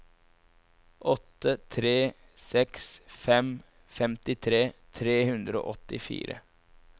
åtte tre seks fem femtitre tre hundre og åttifire